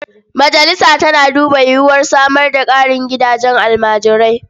Majalisa tana duba yiwuwar samar da ƙarin gidajen almajirai.